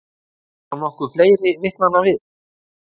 Þarf þá nokkuð fleiri vitnanna við?